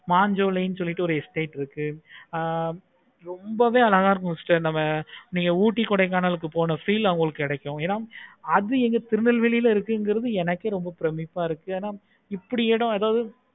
மான் சோலை சொல்லிட்டு இருக்கு. ஆஹ் ரொம்பவே அழகா இருந்துச்சி sister நீங்க ooty, Kodaikanal ளுக்கு போன feel கிடைக்கும். என அது எங்க திருநெல்வேலில இருக்குறது எனக்கே பிரமிப்பை இருக்கு. அப்படி எது எதாவது